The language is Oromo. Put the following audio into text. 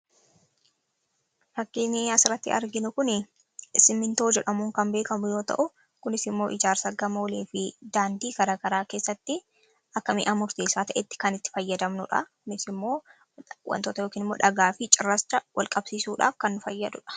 Fakkiin asiratti arginu kun simintoo jedhamuu kan beekamu yoo ta'u, kunis immoo ijaarsa gamoolee fi daandii garagaraa keessatti akka mi'a murteessaa ta'etti kan itti fayyadamnudha. Kunis immoo wantoota yookiin immoo dhagaa fi cirracha wal-qabsiisuudhaaf kan nu fayyaduudha.